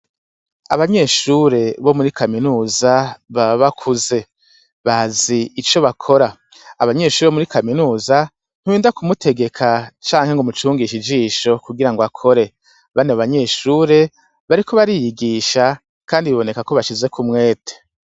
Abanyeshure bo muri kaminuza baba bakuze bazi ico bakora, abanyeshure bo muri kaminuza nturinda kumutegeka canke ngumucungishe ijisho kugirango akore, bano banyeshure bariko bariyigisha kandi bibonekako bashizek' umwete.